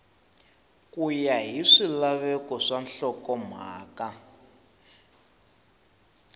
ya hi swilaveko swa nhlokomhaka